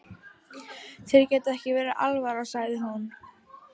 Þér getur ekki verið alvara, sagði hún.